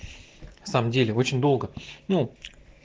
в самом деле очень долго ну